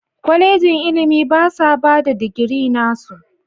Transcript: Kwalejin ilimi basa bada digiri nasu.